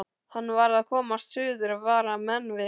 Hann varð að komast suður og vara menn við.